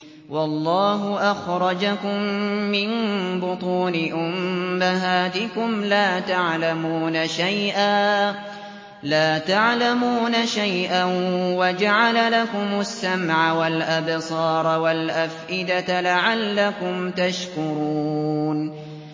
وَاللَّهُ أَخْرَجَكُم مِّن بُطُونِ أُمَّهَاتِكُمْ لَا تَعْلَمُونَ شَيْئًا وَجَعَلَ لَكُمُ السَّمْعَ وَالْأَبْصَارَ وَالْأَفْئِدَةَ ۙ لَعَلَّكُمْ تَشْكُرُونَ